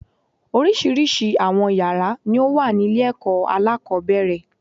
Oríṣiríṣi àwọn yàrá ni ó wà ní ilé èkó alákòóbèrè